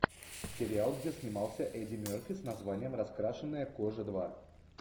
сериал где снимался эдди мерфи с названием раскрашенная кожа два